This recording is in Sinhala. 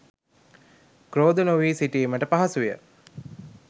ක්‍රෝධ නොවී සිටීමට පහසුය.